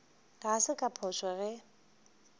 ga se ka phošo ge